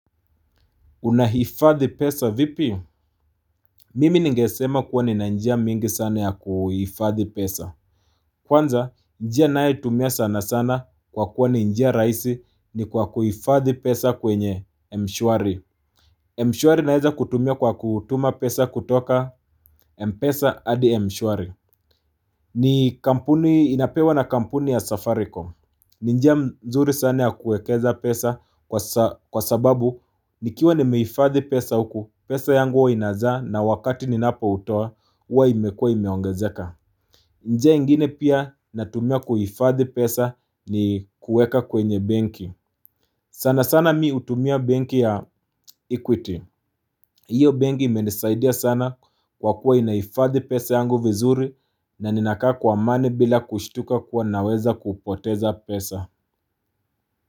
Unahifadhi pesa vipi.? Mimi ningesema kuwa nina njia mingi sana ya kuhifadhi pesa. Kwanza, njia nayotumia sana sana kwa kuwa ni njia raisi ni kwa kuhifadhi pesa kwenye m shwari M shwari naeza kutumia kwa kutuma pesa kutoka mpesa hadi mshwari ni kampuni inapewa na kampuni ya safaricom. Ni njia nzuri sana ya kuwekeza pesa kwa sababu nikiwa nimehifadhi pesa huku pesa yangu huwa inazaa na wakati ni napo toa huwa imekua imeongezeka. Njia nyingine pia natumia kuhifadhi pesa ni kuweka kwenye benki sana sana mimi hutumia benki ya equity. Hiyo benki imenisaidia sana kwa kuwa inahifadhi pesa yangu vizuri na ninakaa kwa amani bila kushituka kuwa naweza kupoteza pesa.